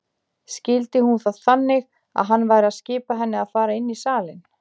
Skildi hún það þannig að hann væri að skipa henni að fara inn í salinn?